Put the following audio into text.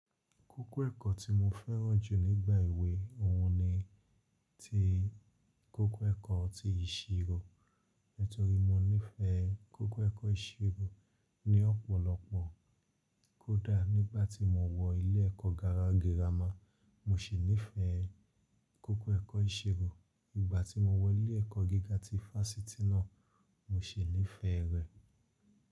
Kókó ẹ̀kọ́ tí mo fẹ́ràn jù nígbà èwe òún ni ti kókó ẹ̀kọ́ ti ìṣirò. Nítorí mo nífẹ̀ẹ́ kókó ẹ̀kọ́ ìṣirò ní ọ̀pọ̀lọpọ̀. Kódà nígbàtí mo wọ ilé ẹ̀kọ́ gárá girama, mo sì nífẹ̀ẹ́ kókó ẹ̀kọ́ ìṣirò. Ìgbà tí mo wọ ilé ẹ̀kọ́ gíga ti Fáṣítì náà, mo sì nífẹ̀ẹ́ rẹ̀.